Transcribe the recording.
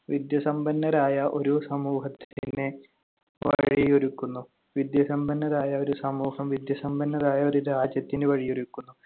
വിദ്യാസമ്പന്നരായ ഒരു സമൂഹത്തിന് വഴിയൊരുക്കുന്നു, വിദ്യാസമ്പന്നരായ ഒരു സമൂഹം വിദ്യാസമ്പന്നരായ ഒരു രാജ്യത്തിന് വഴിയൊരുക്കുന്നു.